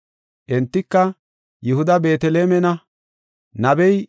Entika, “Yihuda Beetelemena; nabey,